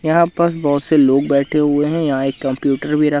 यहां पास बहोत से लोग बैठे हुए हैं यहां एक कंप्यूटर भी र--